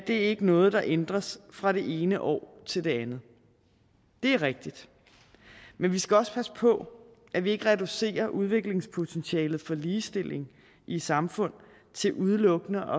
er ikke noget der ændres fra det ene år til det andet det er rigtigt men vi skal også passe på at vi ikke reducerer udviklingspotentialet for ligestilling i samfund til udelukkende